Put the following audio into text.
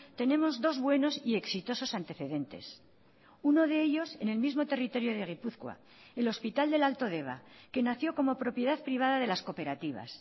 tenemos dos buenos y exitosos antecedentes uno de ellos en el mismo territorio de gipuzkoa el hospital del alto deba que nació como propiedad privada de las cooperativas